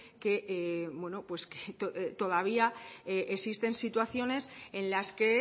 que todavía existen situaciones en las que